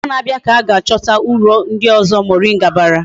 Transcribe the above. Ogbo na abia ka ga achota uru ndi ozo moringa bara